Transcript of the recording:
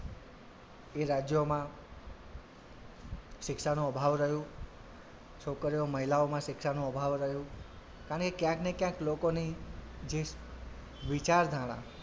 એ રાજ્યોમાં શિક્ષાનો અભાવ રહ્યો છોકરીઓ મહિલાઓમાં શિક્ષાનો અભાવ રહ્યો કારણ કે ક્યાંક ને ક્યાંક લોકોની જે વિચારધારા,